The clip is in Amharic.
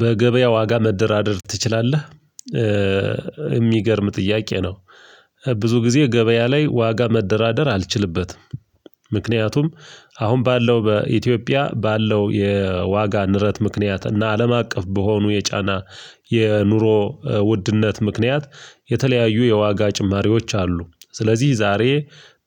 በገበያ ዋጋ መደራደር ትችላለህ? የሚገርም ጥያቄ ነው ብዙ ጊዜ ገበያ ላይ ዋጋ መደራደር አልችልበትም። ምክንያቱም አሁን ባለው በኢትዮጵያ ባለው የዋጋ ንረት ምክንያት እና አለም አቀፍ በሆኑ የጫና የኑሮ ውድነት ምክንያት የተለያዩ የዋጋ ጭማሪዎች አሉ ስለዚህ ዛሬ